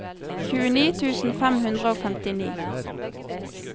tjueni tusen fem hundre og femtini